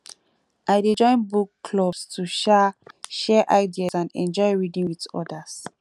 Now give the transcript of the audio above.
i dey join book clubs to um share ideas and enjoy reading with others